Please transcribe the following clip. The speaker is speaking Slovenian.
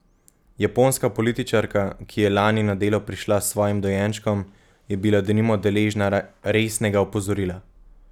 Japonska političarka, ki je lani na delo prišla s svojim dojenčkom, je bila denimo deležna resnega opozorila.